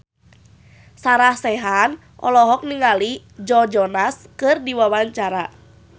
Sarah Sechan olohok ningali Joe Jonas keur diwawancara